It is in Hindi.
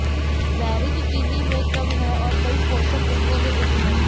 बेरीज चीनी में कम है और कई पोषक तत्वों में उच्च है